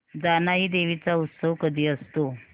जानाई देवी चा उत्सव कधी असतो